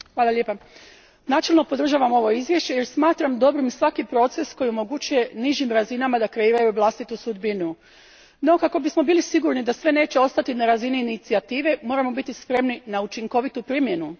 Gospodine predsjedniče, načelno podržavam ovo izvješće jer smatram dobrim svaki proces koji omogućuje nižim razinama da kreiraju vlastitu sudbinu. No kako bismo bili sigurni da neće sve ostati na razini inicijative, moramo biti spremni na učinkovitu primjenu.